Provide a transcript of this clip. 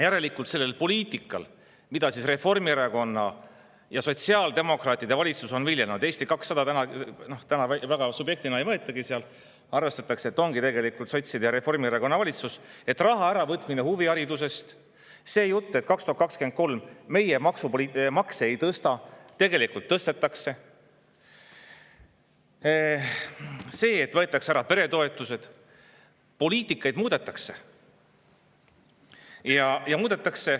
Järelikult sellel poliitikal, mida Reformierakonna ja sotsiaaldemokraatide valitsus on viljelenud – Eesti 200-t täna seal väga subjektina ei võetagi, arvestatakse, et ongi sotside ja Reformierakonna valitsus –, raha äravõtmine huviharidusest, see jutt, et 2023. aastal meie makse ei tõsta, tegelikult tõstetakse, see, et võetakse ära peretoetused, poliitikat muudetakse …